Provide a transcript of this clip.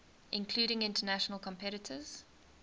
including international competitors